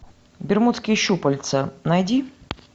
бермудские щупальца найди